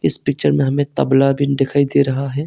इस पिक्चर में हमें तबला भी दिखाई दे रहा है।